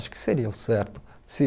Acho que seria o certo. Se